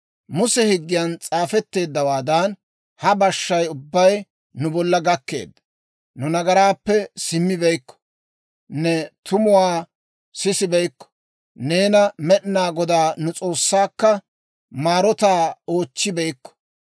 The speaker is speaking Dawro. Muse Higgiyan s'aafetteeddawaadan, ha bashshay ubbay nu bolla gakkeedda. Nu nagaraappe simmibeykko; ne tumuwaa sissibeykko; neena, Med'inaa Godaa nu S'oossaakka maarotaa oochchibeykko.